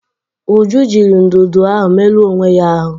Uju jiri ndụdụ ahụ merụọ onwe ya ahụ ụnyaahụ.